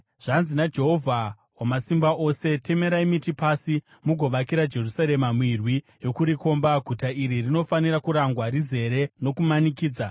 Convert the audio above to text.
Zvanzi naJehovha Wamasimba Ose: “Temerai miti pasi, mugovakira Jerusarema mirwi yokurikomba. Guta iri rinofanira kurangwa; rizere nokumanikidza.